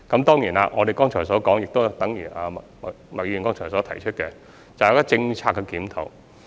當然，正如我剛才所說，亦等於麥議員剛才所提出的，就是政策檢討。